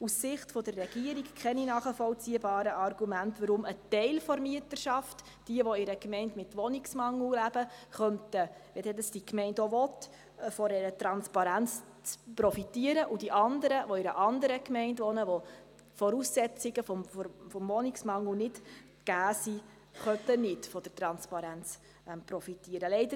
Aus Sicht der Regierung gibt es keine nachvollziehbaren Argumente, weshalb ein Teil der Mieterschaft – alle, welche in einer Gemeinde mit Wohnungsmangel leben – von der Transparenz profitieren, wenn es die Gemeinde denn auch will, und die anderen, welche in einer anderen Gemeinde leben, welche die Voraussetzungen des Wohnungsmangels nicht erfüllen, nicht von der Transparenz profitieren könnten.